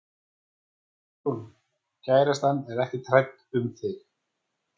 Hugrún: Kærastan er ekkert hrædd um þig?